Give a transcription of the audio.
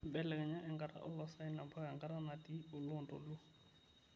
belekeja enkata e oloosaen mpaka enkata natii olontoluo